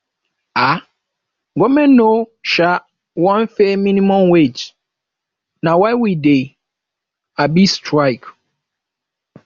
um government no um wan pay minimum wage na why we dey um strike